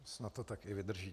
Snad to tak i vydrží.